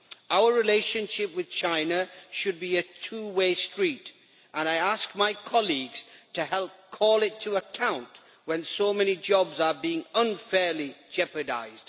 Our relationship with China should be a two way street and I ask my colleagues to help call it to account when so many jobs are being unfairly jeopardised.